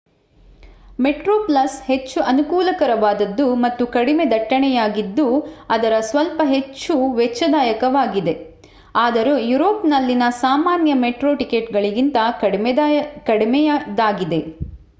Metro Plus ಹೆಚ್ಚು ಅನುಕೂಲಕರವಾದದ್ದು ಮತ್ತು ಕಡಿಮೆ ದಟ್ಟಣೆಯದ್ದಾಗಿದ್ದು ಆದರೆ ಸ್ವಲ್ಪ ಹೆಚ್ಚು ವೆಚ್ಚದಾಯಕವಾಗಿದೆ ಆದರೂ ಯುರೋಪ್‌ನಲ್ಲಿನ ಸಾಮಾನ್ಯ ಮೆಟ್ರೋ ಟಿಕೆಟ್‌ಗಳಿಗಿಂತ ಕಡಿಮೆಯದಾಗಿದೆ